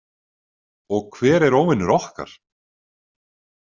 Og hver er óvinur okkar?